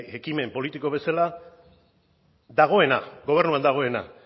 ekimen politiko bezala dagoena gobernuan dagoena